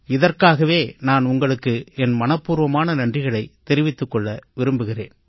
இதற்காகவே நான் உங்களுக்கு என் மனப்பூர்வமான நன்றிகளைத் தெரிவித்துக் கொள்ள விரும்புகிறேன்